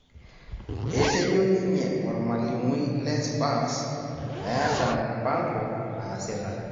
Etejo ninye ormalimui le spas meeta mupango naasita